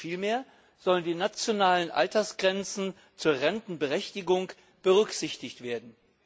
Vielmehr sollen die nationalen Altersgrenzen zur Rentenberechtigung berücksichtigt werden.